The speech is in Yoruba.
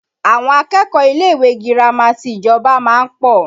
Àwọn akẹ́kọ̀ọ́ ilé ìwé girama ti ìjọba máa ń pọ̀